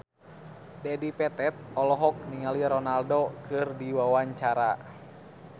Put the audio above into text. Dedi Petet olohok ningali Ronaldo keur diwawancara